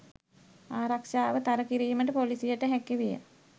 ආරක්ෂාව තර කිරීමට ‍පොලිසියට හැකි විය